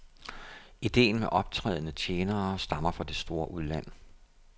Idéen med optrædende tjenere stammer det store udland.